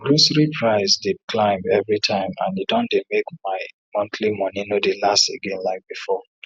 grocery price dey climb every time and e don make my monthly money no dey last again like before